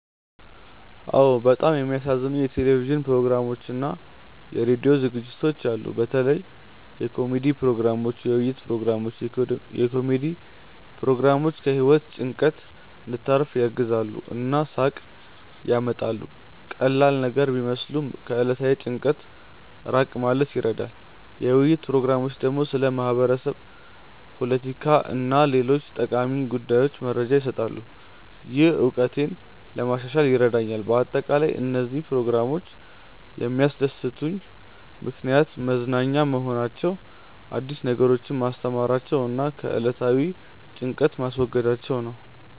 አዎን፣ በጣም የሚያዝናኑኝ የቴሌቪዥን ፕሮግራሞችና የራዲዮ ዝግጅቶች አሉ። በተለይ የኮሜዲ ፕሮግራሞች፣ የውይይት ፕሮግራሞች። የኮሜዲ ፕሮግራሞች ከህይወት ጭንቀት እንድታርፍ ያግዛሉ እና ሳቅ ያመጣሉ። ቀላል ነገር ቢመስሉም ከዕለታዊ ጭንቀት ራቅ ማለት ይረዳሉ። የውይይት ፕሮግራሞች ደግሞ ስለ ማህበረሰብ፣ ፖለቲካ እና ሌሎች ጠቃሚ ጉዳዮች መረጃ ይሰጣሉ፣ ይህም እውቀቴን ለማሻሻል ይረዳኛል በአጠቃላይ፣ እነዚህ ፕሮግራሞች የሚያስደስቱኝ ምክንያት መዝናኛ መሆናቸው፣ አዲስ ነገሮችን ማስተማራቸው እና ከዕለታዊ ጭንቀት ማስወገዳቸው ነው